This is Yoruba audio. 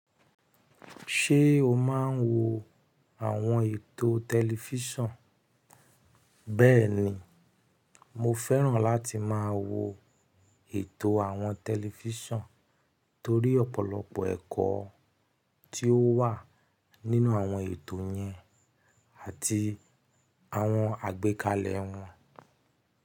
Ṣé o máa ń wo àwọn ètò tẹlifíṣàn? Bẹ́ẹ̀ni, mo fẹ́ràn láti máa wo ètò àwọn tẹlifíṣàn torí ọ̀pọ̀lọpọ̀ ẹ̀kọ́ tí ó wà nínú àwọn ètò yẹn àti àwọn àgbékalẹ̀ wọn.